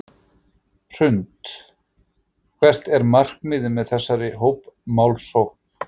Hrund: Hvert er markmiðið með þessari hópmálsókn?